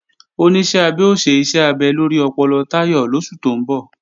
Oníṣẹ́ abẹ ó ṣe iṣẹ́ abẹ lórí ọpọlọ Táyọ̀ lóṣù tó ń bọ̀